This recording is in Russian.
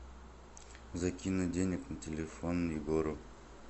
закинуть денег на телефон егору